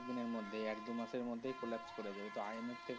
কিছুদিনের মধ্যে, এক দু মাসের মধ্যেই collapse করে যাবে। তো IMF থেকে।